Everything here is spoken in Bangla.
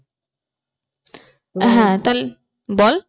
বল